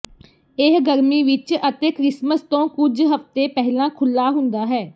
ਇਹ ਗਰਮੀ ਵਿੱਚ ਅਤੇ ਕ੍ਰਿਸਮਸ ਤੋਂ ਕੁਝ ਹਫ਼ਤੇ ਪਹਿਲਾਂ ਖੁੱਲ੍ਹਾ ਹੁੰਦਾ ਹੈ